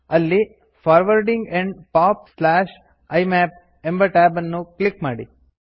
ಅಲ್ಲಿ forwarding and POP IMAP ಎಂಬ tab ಅನ್ನು ಕ್ಲಿಕ್ ಮಾಡಿ